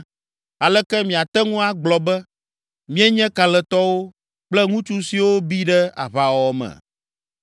“Aleke miate ŋu agblɔ be, ‘Míenye kalẽtɔwo, kple ŋutsu siwo bi ɖe aʋawɔwɔ me?’